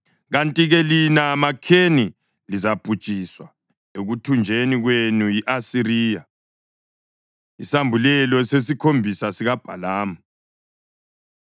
kanti-ke lina maKheni lizabhujiswa ekuthunjweni kwenu yi-Asiriya.” Isambulelo Sesikhombisa SikaBhalamu